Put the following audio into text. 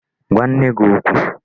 Gwa nne gị okwu!